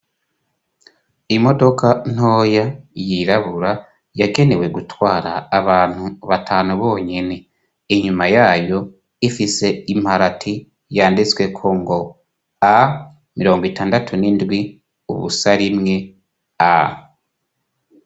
Imodoka ntoya yirabura yagenewe gutwara abantu batanu bonyene inyuma yayo ifise imparati yanditsweko ngo a mirongo itandatu n'indwi ubusa rimwe a.